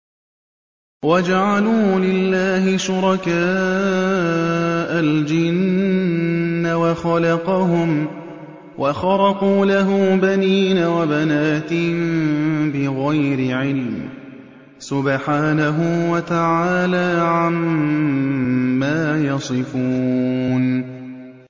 وَجَعَلُوا لِلَّهِ شُرَكَاءَ الْجِنَّ وَخَلَقَهُمْ ۖ وَخَرَقُوا لَهُ بَنِينَ وَبَنَاتٍ بِغَيْرِ عِلْمٍ ۚ سُبْحَانَهُ وَتَعَالَىٰ عَمَّا يَصِفُونَ